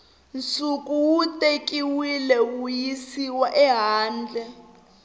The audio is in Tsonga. nsuku wu tekiwile wuyisiwa ehandle